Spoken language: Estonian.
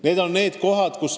Need on need kohad.